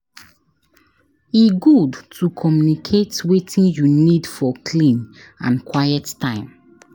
E good to communicate wetin you need for clean and quiet time.